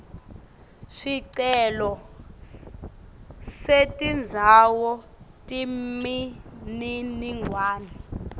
sicelo setindzawo temininingwane